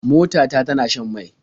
Mota ta tana shan mai.